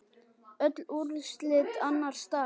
Öll úrslit annars dags